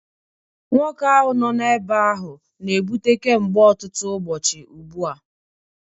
Nwoke ahụ nọ n'ebe ahụ na-ebute kemgbe ọtụtụ ụbọchị ugbu a